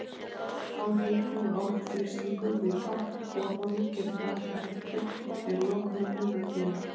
Hár hiti og hár þrýstingur við topp borholu getur valdið hættu ef lokunarbúnaður bilar.